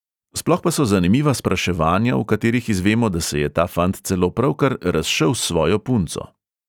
Sploh pa so zanimiva spraševanja, v katerih izvemo, da se je ta fant celo pravkar razšel s svojo punco.